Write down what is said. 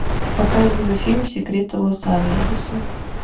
показывай фильм секреты лос анджелеса